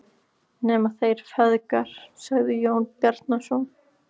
Nema þeir feðgar, sagði Jón Bjarnason.